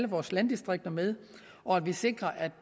vores landdistrikter med og at vi sikrer at